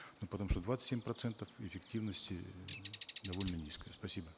ну потому что двадцать семь процентов эффективности довольно низкая спасибо